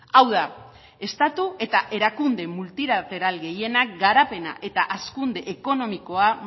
hau da estatu eta erakunde multilateral gehienak garapena eta hazkunde ekonomikoa